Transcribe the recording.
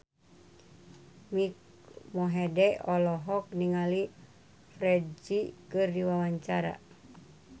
Mike Mohede olohok ningali Ferdge keur diwawancara